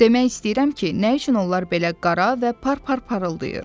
Demək istəyirəm ki, nə üçün onlar belə qara və par-par parıldayır.